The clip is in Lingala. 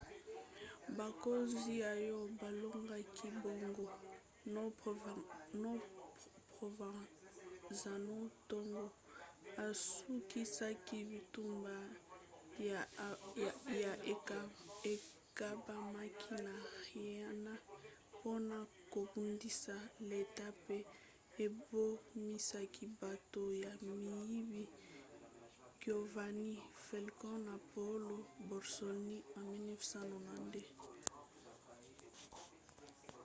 bakonzi oyo balongaki bango na provenzano ntango asukisaki bitumba ya ekambamaki na riina mpona kobundisa leta mpe ebomisaki bato ya miyibi giovanni falcone na paolo borsellino na 1992.